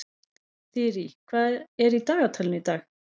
Þyrí, hvað er í dagatalinu í dag?